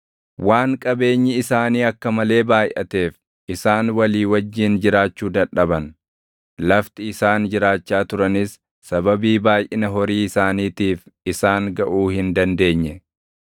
Waan qabeenyi isaanii akka malee baayʼateef isaan walii wajjin jiraachuu dadhaban; lafti isaan jiraachaa turanis sababii baayʼina horii isaaniitiif isaan gaʼuu hin dandeenye.